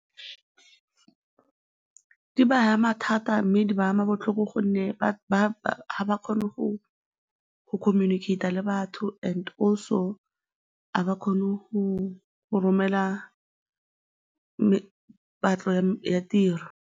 Di ba ama thata mme di ba ama botlhoko gonne ga ba kgone go communicate-a le batho and also ga ba kgone go romela patlo ya tiro.